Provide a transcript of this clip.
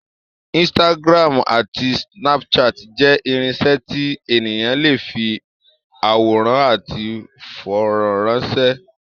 Instagram àti Snapchat jẹ́ irinṣẹ́ tí ènìyàn lè fi àwòrán àti fọ́nrán ránṣẹ́.